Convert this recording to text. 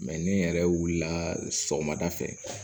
ni n yɛrɛ wulila sɔgɔmada fɛ